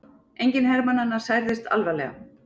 Enginn hermannanna særðist alvarlega